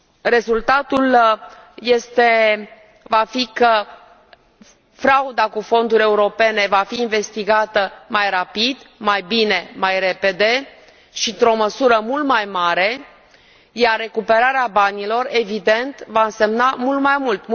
Rezultatul va fi că frauda cu fonduri europene va fi investigată mai rapid, mai bine, mai repede și într o măsură mult mai mare, iar recuperarea banilor, evident, va însemna mult mai mult.